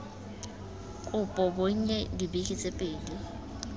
kopo bonnye dibeke tse pedi